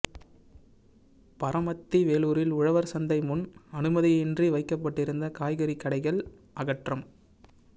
பரமத்தி வேலூரில் உழவா் சந்தை முன் அனுமதியின்றி வைக்கப்பட்டிருந்த காய்கறிக் கடைகள் அகற்றம்